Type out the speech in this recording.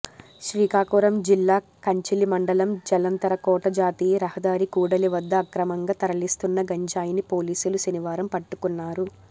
శ్రీకాకుళం జిల్లా కంచిలి మండలం జలంతరకోట జాతీయ రహదారి కూడలి వద్ద అక్రమంగా తరలిస్తున్న గంజాయిని పోలీసులు శనివారం పట్టుకున్నారు